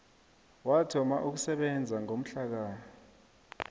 wathoma ukusebenza ngomhlaka